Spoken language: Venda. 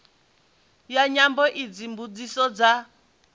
ya nyambo idzi mbudziso dza